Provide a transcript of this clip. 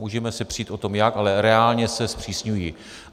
Můžeme se přít o tom jak, ale reálně se zpřísňují.